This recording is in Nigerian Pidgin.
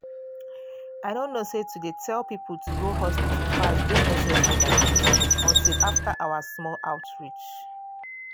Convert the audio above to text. i no know say to dey tell people to go hospital fast dey necessary like this until after our small outreach.